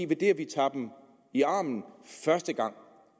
ved at vi tager dem i armen første gang